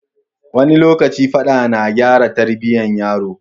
Wani lokaci Faɗa na gyara Tarbiyya yaro